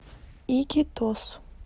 икитос